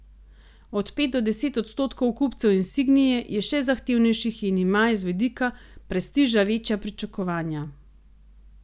Od pet do deset odstotkov kupcev insignie je še zahtevnejših in ima iz vidika prestiža večja pričakovanja.